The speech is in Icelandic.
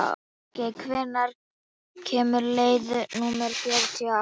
Bergey, hvenær kemur leið númer fjörutíu og átta?